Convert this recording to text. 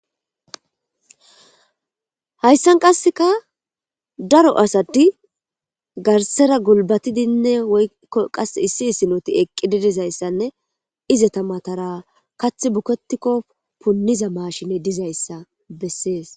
Hayssan qasseka daro asati garsera gulbatidinne woykkko qas issi issinoti eqqi didizayssanne izeta matara kath buketikko punniza maashine dizayssa bessees.